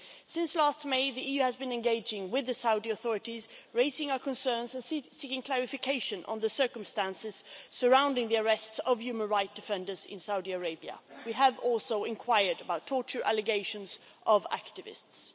Since last May, the EU has been engaging with the Saudi authorities raising our concerns and seeking clarification on the circumstances surrounding the arrests of human rights defenders in Saudi Arabia. We have also inquired about torture allegations of activists.